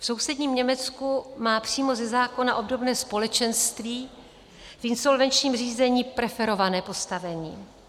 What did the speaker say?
V sousedním Německu má přímo ze zákona obdobné společenství v insolvenčním řízení preferované postavení.